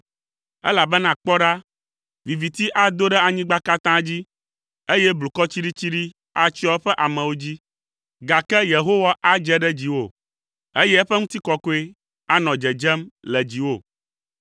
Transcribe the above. elabena kpɔ ɖa, viviti ado ɖe anyigba katã dzi, eye blukɔ tsiɖitsiɖi atsyɔ eƒe amewo dzi, gake Yehowa adze ɖe dziwò, eye eƒe ŋutikɔkɔe anɔ dzedzem le dziwò.